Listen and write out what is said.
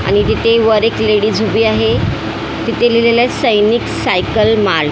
आणि तिथे वर एक लेडीज उभी आहे तिथे लिहिलेलं आहे सैनिक सायकल मार्ट .